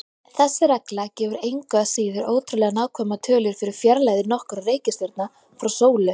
Þessi regla gefur engu að síður ótrúlega nákvæmar tölur fyrir fjarlægðir nokkurra reikistjarna frá sólu.